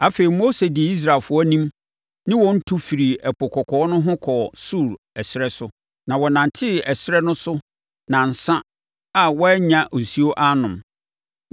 Afei, Mose dii Israelfoɔ no anim ne wɔn tu firii Ɛpo Kɔkɔɔ no ho kɔɔ Sur ɛserɛ so. Na wɔnantee ɛserɛ no so nnansa a wɔannya nsuo annom.